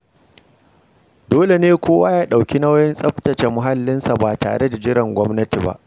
Dole ne kowa ya ɗauki nauyin tsaftace muhallinsa ba tare da jiran gwamnati ba.